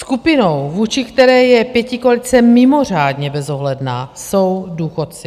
Skupinou, vůči které je pětikoalice mimořádně bezohledná, jsou důchodci.